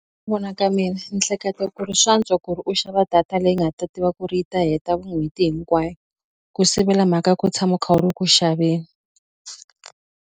vona ka mina ni hleketa ku ri swa antswa ku ri u xava data leyi nga ta tiva ku ri yi ta heta n'hweti hinkwayo ku sivela mhaka ya ku tshama kha u ri ku xaveni.